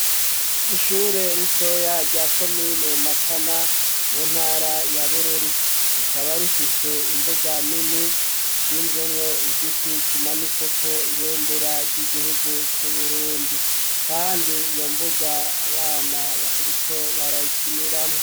Ishure ritoya rya komine Matana mu ntara ya Bururi rikaba rifise imbuga nini ishinzemwo igiti kimanitseko ibendera ry'igihugu cu Burundi kandi iyo mbuga abana bariko barayikiniramwo